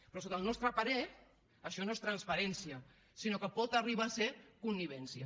però sota el nostre parer això no és transparència sinó que pot arribar a ser connivència